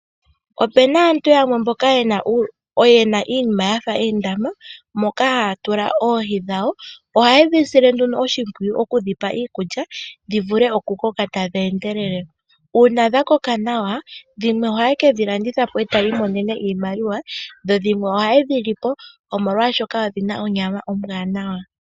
Opena aantu yamwe mboka yena iinima wafa oondama moka haa tula oohi dhawo. Ohaye dhi sile nduno oshimpwiyu oku dhi pa iikulya dhi vule oku koka tadhi endelele. Uuna dha koka nawa dhimwe ohaye ke dhi landitha po e taya imonene iimaliwa, dho dhimwe ohaye dhi li po omolwaashoka odhi na onyama ombwaanawa.